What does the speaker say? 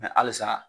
halisa